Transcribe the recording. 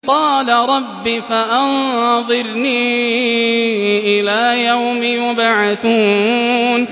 قَالَ رَبِّ فَأَنظِرْنِي إِلَىٰ يَوْمِ يُبْعَثُونَ